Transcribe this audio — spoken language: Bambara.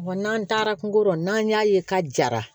n'an taara kungo kɔnɔ n'an y'a ye ka jara